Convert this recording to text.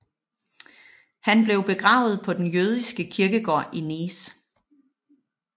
Han blev begravet på den jødiske kirkegård i Nice